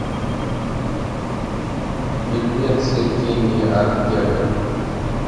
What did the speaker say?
фильмецы кенни ортега